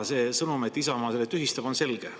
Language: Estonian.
Sõnum, et Isamaa selle tühistab, on selge.